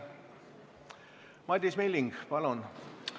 Madis Milling, palun!